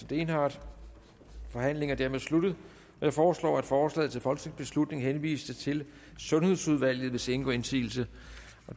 dehnhardt forhandlingen er dermed sluttet jeg foreslår at forslaget til folketingsbeslutning henvises til sundhedsudvalget hvis ingen gør indsigelse